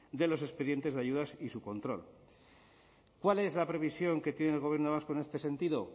de los expedientes de ayudas y su control cuál es la previsión que tiene el gobierno vasco en este sentido